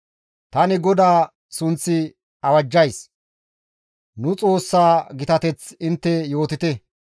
Tani GODAA sunth awajjays; nu Xoossaa gitateth intte yootite.